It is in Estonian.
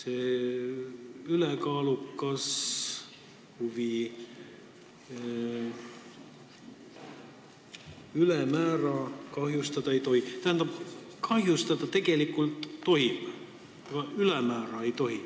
Ülekaalukas huvi ja see, et õigusi ei tohi ülemäära kahjustada – tähendab, tegelikult tohib kahjustada, aga ülemäära ei tohi.